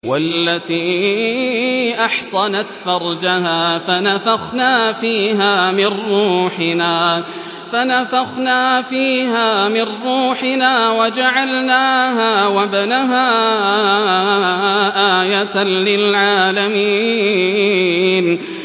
وَالَّتِي أَحْصَنَتْ فَرْجَهَا فَنَفَخْنَا فِيهَا مِن رُّوحِنَا وَجَعَلْنَاهَا وَابْنَهَا آيَةً لِّلْعَالَمِينَ